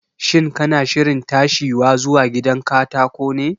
Shin kana shirin tashiwa zuwa gidan katako ne?